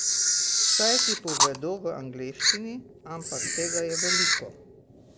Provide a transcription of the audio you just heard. Saj ti povedo v angleščini, ampak tega je veliko.